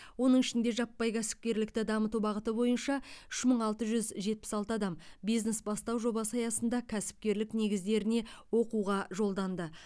оның ішінде жаппай кәсіпкерлікті дамыту бағыты бойынша үш мың алты жүз жетпіс алты адам бизнес бастау жобасы аясында кәсіпкерлік негіздеріне оқуға жолданды